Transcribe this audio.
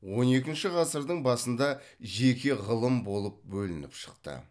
он екінші ғасырдың басында жеке ғылым болып бөлініп шықты